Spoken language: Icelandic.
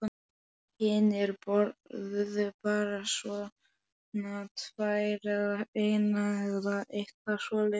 Hinir borðuðu bara svona tvær eða eina eða eitthvað svoleiðis.